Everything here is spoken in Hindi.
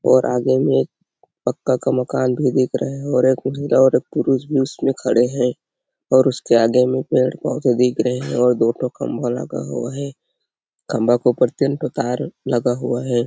और आगे में पक्का का मकान भी दिख रहा है और एक ठो और एक पुलिस भी उसमें खड़े है और उसके आगे में पेड़ -पौधे दिख रहे है और दो ठो खंभा लगा हुआ है खम्भा के ऊपर तीन ठो तार लगा हुआ हैं ।